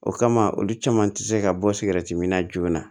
O kama olu caman ti se ka bɔ min na joona